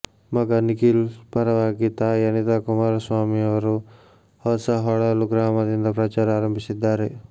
ಮಗ ನಿಖಿಲ್ ಪರವಾಗಿ ತಾಯಿ ಅನಿತಾಕುಮಾರಸ್ವಾಮಿ ಅವರು ಹೊಸಹೊಳಲು ಗ್ರಾಮದಿಂದ ಪ್ರಚಾರ ಆರಂಭಿಸಿದ್ದಾರೆ